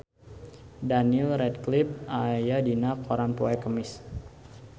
Daniel Radcliffe aya dina koran poe Kemis